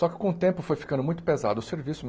Só que com o tempo foi ficando muito pesado o serviço.